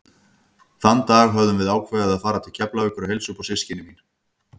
Þann dag höfðum við ákveðið að fara til Keflavíkur og heilsa upp á systkini mín.